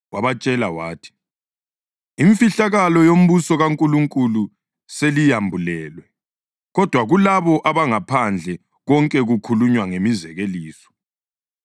Wabatshela wathi, “Imfihlakalo yombuso kaNkulunkulu seliyambulelwe. Kodwa kulabo abangaphandle konke kukhulunywa ngemizekeliso